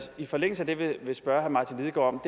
i forlængelse af det vil spørge herre martin lidegaard